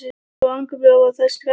Svo angurblíðar voru þær og skerandi.